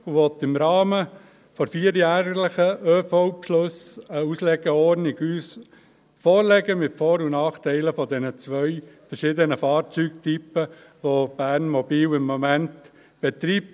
Er will uns im Rahmen der vierjährlichen ÖV-Beschlüsse eine Auslegeordnung mit Vor- und Nachteilen der zwei unterschiedlichen, derzeit von Bernmobil betriebenen Fahrzeugtypen vorlegen;